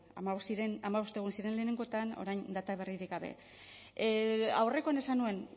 hamabost egun ziren lehenengoetan orain data berririk gabe aurrekoan esan nuen